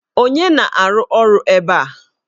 Onye na-arụ ọrụ ebe a?